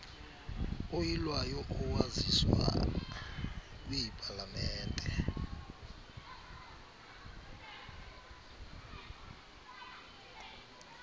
oyilwayo owaziswa kwipalamente